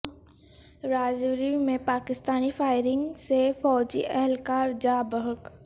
راجوری میں پاکستانی فائرنگ سے فوجی اہلکار جاں بحق